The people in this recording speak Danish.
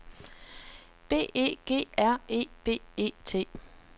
B E G R E B E T